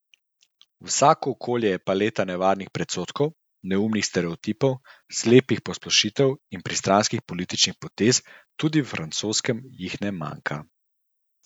Vsako okolje je paleta nevarnih predsodkov, neumnih stereotipov, slepih posplošitev in pristranskih političnih potez, tudi v francoskem jih ne manjka.